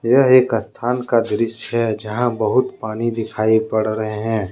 यह एक स्थान का दृश्य है जहां बहुत पानी दिखाई पड़ रहे हैं।